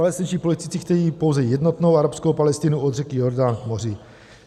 Palestinští politici chtějí pouze jednotnou arabskou Palestinu od řeky Jordán k moři.